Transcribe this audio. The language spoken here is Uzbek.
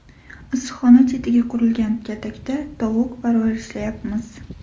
Issiqxona chetiga qurilgan katakda tovuq parvarishlayapmiz.